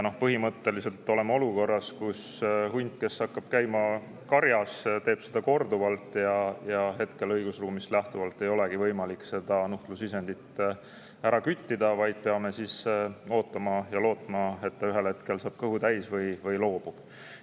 Põhimõtteliselt oleme olukorras, kus hunt, kes hakkab käima karjas, teha seda korduvalt ja õigusruumist lähtuvalt ei olegi võimalik seda nuhtlusisendit küttida, vaid peame ootama ja lootma, et ta ühel hetkel saab kõhu täis või loobub.